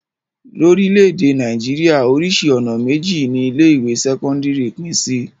Lórílẹ̀-èdè Nàìjíríà, oríṣi ọ̀nà méjì ni ilé-ìwé sẹ́kọ́ndárì pín sí.